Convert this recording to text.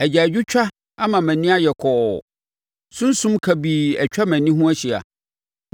Agyaadwotwa ama mʼani ayɛ kɔɔ; sunsum kabii atwa mʼani ho ahyia.